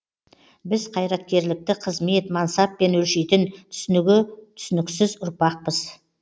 біз қайраткерлікті қызмет мансаппен өлшейтін түсінігі түсініксіз ұрпақпыз